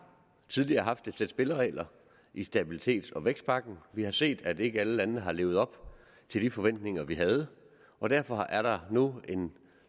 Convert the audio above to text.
tidligere haft et sæt spilleregler i stabilitets og vækstpagten vi har set at ikke alle landene har levet op til de forventninger vi havde og derfor er der nu en